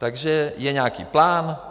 Takže je nějaký plán.